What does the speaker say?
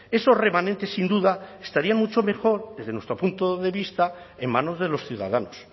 esos remanentes sin duda estarían mucho mejor desde nuestro punto de vista en manos de los ciudadanos